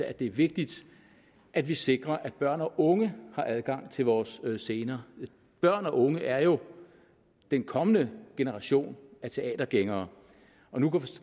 at det er vigtigt at vi sikrer at børn og unge har adgang til vores scener børn og unge er jo den kommende generation af teatergængere nu kan